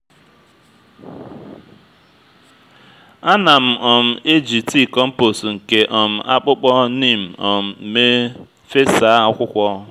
a na m um eji tii kompos nke um akpụkpọ neem um mee fesa akwukwo